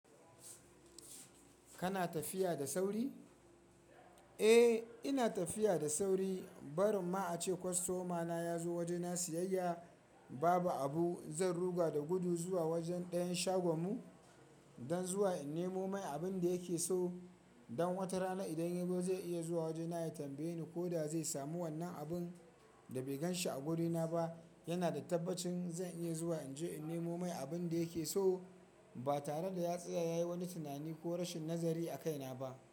Kana tafiya da sauri? Eh, ina tafiya da sauri. Barin ma a ce kwastomana ya zo wajena siyayya babu abu. Zan ruga da gudu zuwa wajen ɗayan shagon mu dan zuwa in nemo mai abin da yake so. Dan wata rana idan ya zo zai iya zuwa wajena ya tambaye ni ko da zai samu wannan abin da bai gan shi a gurina ba. Yana da tabbacin zan iya zuwa in je in nemo mai abin da yake so. Ba tare da ya tsaya ya yi wani tunani ko rashin nazari a kaina ba.